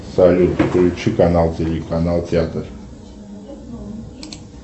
салют включи канал телеканал театр